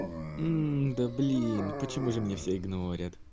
да блин почему же меня все игнорят